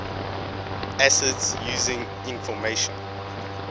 acids using information